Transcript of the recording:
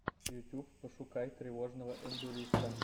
ютюб пошукай тревожного эндуриста